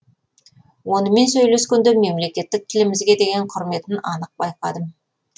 онымен сөйлескенде мемлекеттік тілімізге деген құрметін анық байқадым